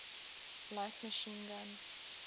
light machine gun